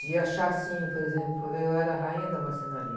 De achar assim, por exemplo, eu era a rainha da marcenaria.